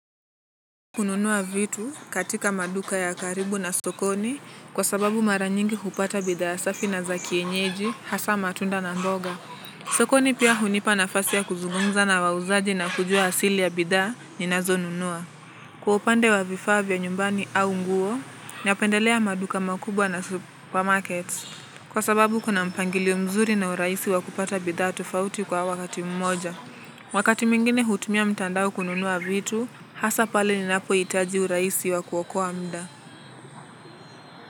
Kununua vitu katika maduka ya karibu na sokoni kwa sababu mara nyingi hupata bidhaa safi na za kienyeji hasa matunda na mboga. Sokoni pia hunipa nafasi ya kuzungumza na wauzaji na kujua asili ya bidhaa ninazonunua. Kwa upande wa vifaa vya nyumbani au nguo, napendelea maduka makubwa na supermarkets. Kwa sababu kuna mpangilio mzuri na urahisi wa kupata bidhaa tofauti kwa wakati mmoja. Wakati mwingine hutumia mtandao kununua vitu, hasa pale ninapohitaji urahisi wa kuokoa mda.